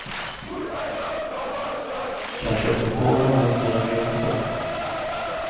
Kanske jag kommer på något medan vi håller på.